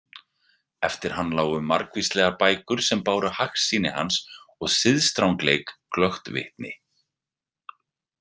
Eftir hann lágu margvíslegar bækur sem báru hagsýni hans og siðastrangleik glöggt vitni.